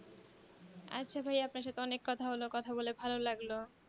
আচ্ছা ভাইয়া আপনার সাথে অনেক কথা হলো কথা বলে ভালো লাগলো